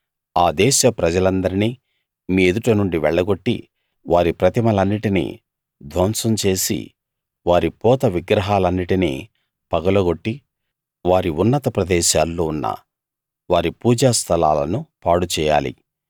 ఆ దేశ ప్రజలందరినీ మీ ఎదుట నుండి వెళ్లగొట్టి వారి ప్రతిమలన్నిటినీ ధ్వంసం చేసి వారి పోత విగ్రహాలన్నిటిని పగలగొట్టి వారి ఉన్నత ప్రదేశాల్లో ఉన్న వారి పూజా స్థలాలను పాడుచేయాలి